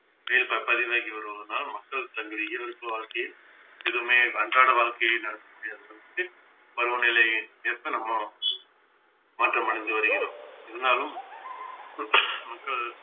பதிவாகி வருவதனால் மக்கள் தங்கள் வாழ்க்கையில் எதுவுமே அன்றாட வாழ்க்கையை நடத்த முடியாத சூழலில் பருவநிலைக்கேற்ப நம்ம மாற்றமடைந்து வருகிறோம் இருந்தாலும் மக்கள்